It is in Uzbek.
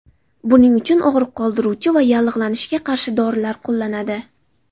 Buning uchun og‘riq qoldiruvchi va yallig‘lanishga qarshi dorilar qo‘llanadi.